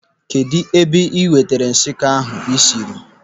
Kedụ ebe ị nwetara nshikọ ndị ahụ ịsịrị?